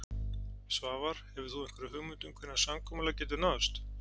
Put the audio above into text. Svavar: Hefur þú einhverja hugmynd um hvenær samkomulag getur náðst?